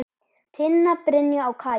Tinna, Brynja og Kaja.